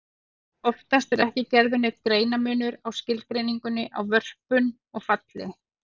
Oftast er ekki gerður neinn greinarmunur á skilgreiningunni á vörpun og falli.